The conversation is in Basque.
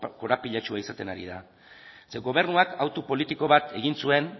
korapilatsua izaten ari da zeren gobernuak autu politiko bat egin zuen